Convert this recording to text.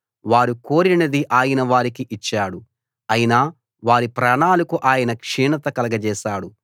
వారు కోరినది ఆయన వారికి ఇచ్చాడు అయినా వారి ప్రాణాలకు ఆయన క్షీణత కలగజేశాడు